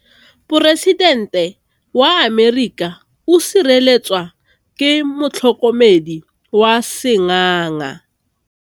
Poresitêntê wa Amerika o sireletswa ke motlhokomedi wa sengaga.